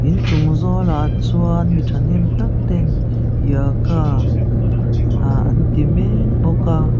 in chung zawlah chuan mi thahnem tak ten yoga ah an ti mek bawk a.